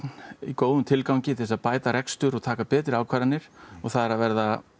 í góðum tilgangi til að bæta rekstur og taka betri ákvarðanir og það er að verða